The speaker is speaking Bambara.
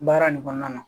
Baara nin kɔnɔna na